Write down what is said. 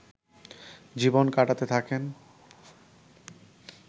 জীবন কাটাতে থাকেন